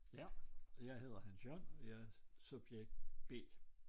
Ja og jeg hedder Hans Jørgen og jeg er subjekt B